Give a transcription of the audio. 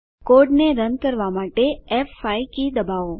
કોડને રન કરવાં માટે ફ5 કી દબાવો